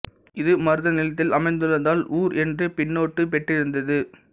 இது மருத நிலத்தில் அமைந்துள்ளதால் ஊா் என்ற பின்னொட்டு பெற்றிருந்தது